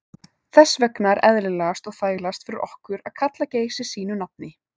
Þess vegna er eðlilegast og þægilegast fyrir okkur að kalla Geysi sínu nafni.